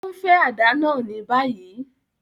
O nfe àdá náa ni bayi!